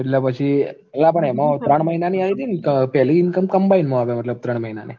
એટલે પછી એલા પણ એમાં ત્રણ મહિનાની આયી તી ન તો પેલી income combined માં આવે મતલબ ત્રણ મહિનાની